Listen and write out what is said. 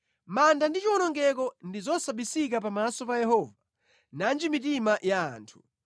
Manda ndi chiwonongeko ndi zosabisika pamaso pa Yehova, nanji mitima ya anthu!